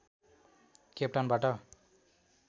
केपटाउनबाट